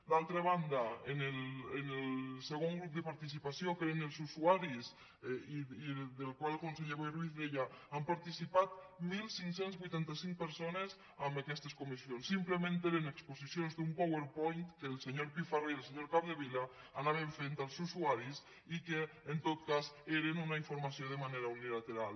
d’altra banda en el segon grup de participació que eren els usuaris del qual el conseller boi ruiz deia han participat quinze vuitanta cinc persones en aquestes comissions simplement eren exposicions d’un powerpoint que el senyor pifarré i el senyor capdevila anaven fent als usuaris i que en tot cas era una informació de manera unilateral